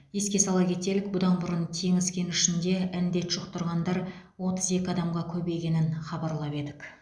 еске сала кетелік бұдан бұрын теңіз кенішінде індет жұқтырғандар отыз екі адамға көбейгенін хабарлап едік